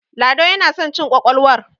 lado yana son cin ƙwaƙwalwar